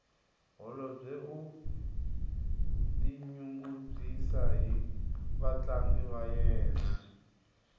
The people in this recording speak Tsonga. holobye u tinyungubyisa hi vatlangi va yena